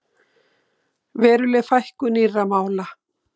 Veruleg fækkun nýrra mála